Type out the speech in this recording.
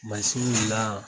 Mansin la.